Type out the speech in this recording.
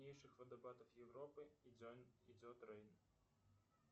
джой какие виды землетрясения в лиссабоне ты знаешь